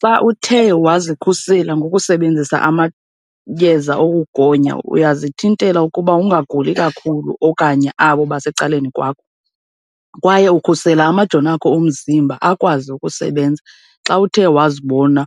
Xa uthe wazikhusela ngokusebenzisa amayeza okugonya uyazithintela ukuba ungaguli kakhulu okanye abo basecaleni kwakho, kwaye ukhusela amajoni akho omzimba akwazi ukusebenza xa uthe wazibona